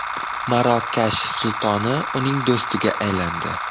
Marokash sultoni uning do‘stiga aylandi.